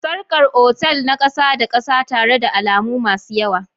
Sarkar otal na ƙasa-da-kasa tare da alamu masu yawa.